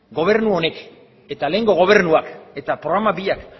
gobernu honek eta lehengo gobernuak eta programa biak